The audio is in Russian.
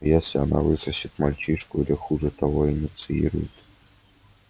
но если она высосет мальчишку или хуже того инициирует